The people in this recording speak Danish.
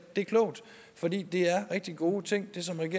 det er klogt fordi det er rigtig gode ting